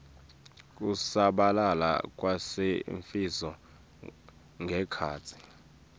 kusabalala kwalesifo ngekhatsi